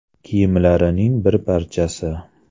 kiyimlarining bir parchasi.